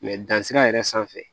dan sira yɛrɛ sanfɛ